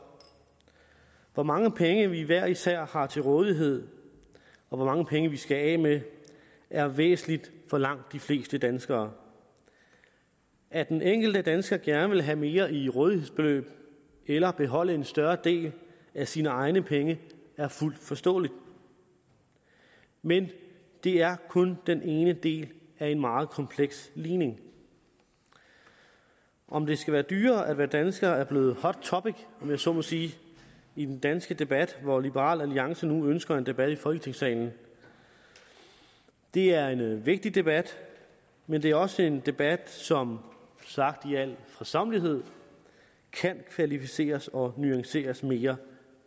hvor mange penge vi hver især har til rådighed og hvor mange penge vi skal af med er væsentligt for langt de fleste danskere at den enkelte dansker gerne vil have mere i rådighedsbeløb eller beholde en større del af sine egne penge er fuldt forståeligt men det er kun den ene del af en meget kompleks ligning om det skal være dyrere at være dansker er blevet et hot topic om jeg så må sige i den danske debat hvor liberal alliance nu ønsker en debat i folketingssalen det er en vigtig debat men det er også en debat som sagt i al fredsommelighed kan kvalificeres og nuanceres mere